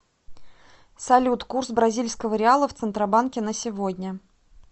салют курс бразильского реала в центробанке на сегодня